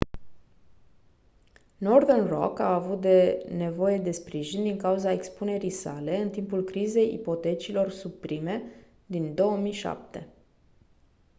northern rock a avut nevoie de sprijin din cauza expunerii sale în timpul crizei ipotecilor subprime din 2007